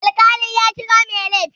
Alƙali ya kira mai laifi.